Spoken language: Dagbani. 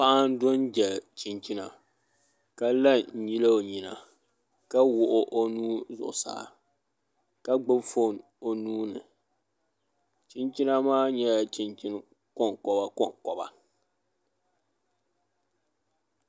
Paɣa n do n dali chinchina ka la n nyili o nyina ka wuɣu o nuu zuɣusaa ka gbubi foon o nuuni chinchina maa nyɛla chinchini konkoba konkoba